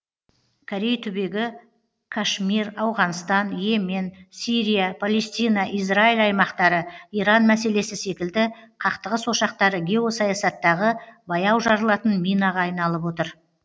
корей түбегі кашмир ауғанстан и емен сирия палестина израиль аймақтары иран мәселесі секілді қақтығыс ошақтары геосаясаттағы баяу жарылатын минаға айналып отыр